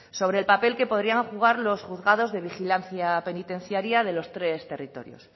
sobre el papel que podrían jugar los juzgados de vigilancia penitenciaria de los tres territorios